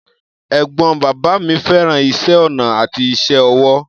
Ẹ̀gbọ́n bàbá mi fẹ́ràn iṣẹ́ ọnà àti iṣẹ́ ọwọ́.